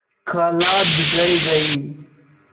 खाला बिगड़ गयीं